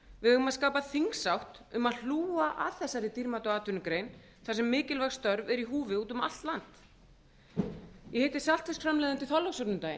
eigum að skapa þingsátt um að hlúa að þessari dýrmætu atvinnugrein þar sem mikilvæg störf eru í húfi úti um allt land ég hitt saltfisksframleiðanda í þorlákshöfn um daginn